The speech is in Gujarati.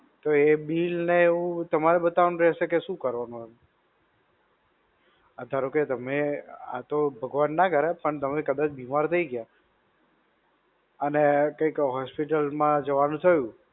તો એ bill ને એવું તમારે બતાવવાનું રહેશે કે શું કરવાનું? આ ધારો કે તમે, આ તો ભગવાન ના કરે પણ તમે કદાચ બીમાર થઇ ગ્યા, અને કંઈક hospital માં જવાનું થયું.